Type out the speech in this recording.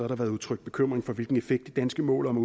der været udtrykt bekymring for hvilken effekt det danske mål om at